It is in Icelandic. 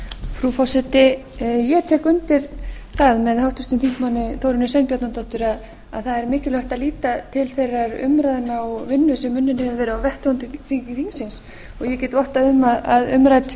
frú forseti ég tek undir það með háttvirtum þingmanni þórunni sveinbjarnardóttur að það er mikilvægt að líta til þeirra umræðna og vinnu sem unnin hefur verið á vettvangi þingsins ég get vottað um að umrædd